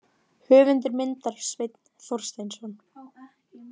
Höfundur myndar: Sveinn Þorsteinsson.